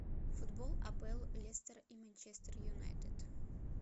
футбол апл лестер и манчестер юнайтед